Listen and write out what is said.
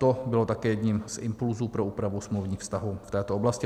To bylo také jedním z impulsů pro úpravu smluvních vztahů v této oblasti.